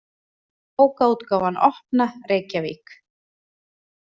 Bókaútgáfan Opna, Reykjavík.